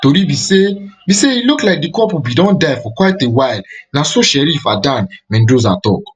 tori be say be say e look like di couple bin don die for quite a while na so sheriff adan mendoza tok